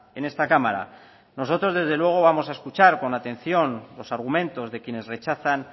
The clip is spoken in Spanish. en esta cámara nosotros desde luego vamos a escuchar con atención los argumentos de quienes rechazan